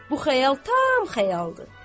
Bu xəyal tam xəyaldır.